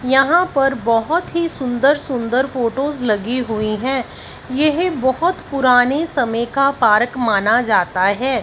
यहां पर बहोत ही सुंदर सुंदर फोटोज लगी हुई है यह बहोत पुराने समय का परक माना जाता है।